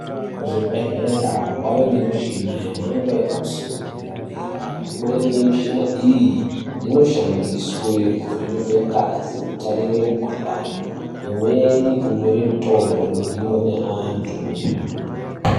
Kuzvibhedhlera kwave nemichini yemhando yepadera dera imweni yemichina iyi inoshandiswe kuvheneke ngazi kutarise mikuhlani imweni kunyore ngazi inodiwe ngevantu.